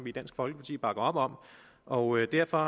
i dansk folkeparti bakker op om og derfor